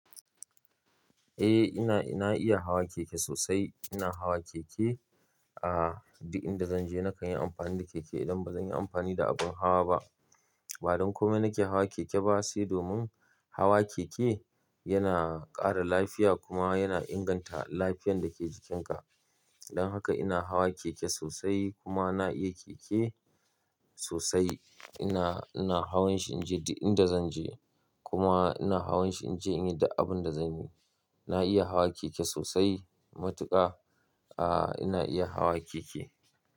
Eh ina, ina iya hawa keke sosai. Ina hawa keke, ah, duk inda zanje na kan yi amfani da keke idan bazan yi amfani da abun hawa ba. Ba don komai nake hawa keke ba, sai domin hawa keke yana ƙara lafiya kuma yana inganta lafiyan dake jikinka. Don haka ina hawa keke sosai kuma na iya keke sosai. Ina, ina hawan shi inje duk inda zanje kuma ina hawan shi inje in yi da abun da zanyi. Na iya hawa keke sosai matuƙa, ah, ina iya hawa keke.